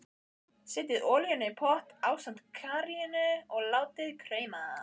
Setjið olíuna í pott ásamt karríinu og látið krauma.